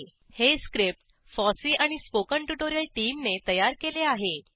httpspoken tutorialorgNMEICT Intro हे script FOSSEE आणि spoken tutorial टीमने तयार केले आहे